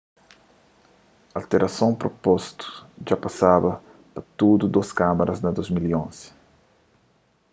alterason propostu dja pasaba pa tudu dôs kámaras na 2011